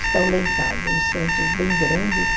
Estão lá em casa, uns santos bem grandes.